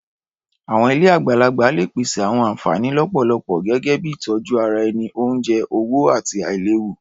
Àwọn ilé àgbàlagbà lè pèsè àwọn ànfàní lọ́pọ̀lọpọ̀ gẹ́gẹ́ bíi ìtọjú ara ẹni, oúnjẹ, owó, àti àìléwu.